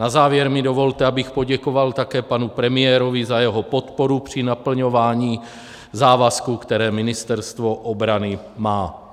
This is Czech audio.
Na závěr mi dovolte, abych poděkoval také panu premiérovi za jeho podporu při naplňování závazků, které Ministerstvo obrany má.